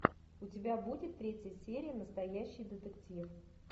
у тебя будет третья серия настоящий детектив